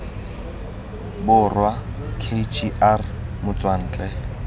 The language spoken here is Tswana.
borwa k g r motswantle